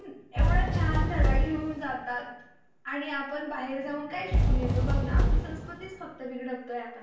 एवढा छान धडा घेऊन जातात आणि आपण बाहेर जाऊन काय शिकून येतो बघ न आपली संस्कृति फक्त बिघडवतोय आपण